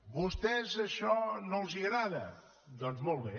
a vostès això no els agrada doncs molt bé